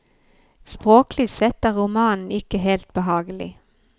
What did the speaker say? Språklig sett er romanen ikke helt behagelig.